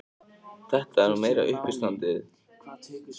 Þetta er nú meira uppistandið!